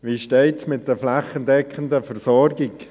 Wie steht es mit der flächendeckenden Versorgung?